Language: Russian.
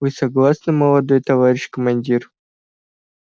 вы согласны молодой товарищ командир